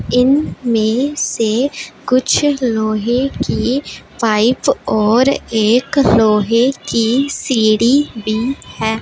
इनमें से कुछ लोहे की पाइप और एक लोहे की सीढ़ी भी है।